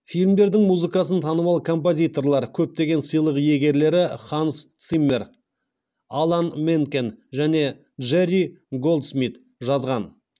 фильмдердің музыкасын танымал композиторлар көптеген сыйлық иегерлері ханс циммер алан менкен және джерри голдсмит жазған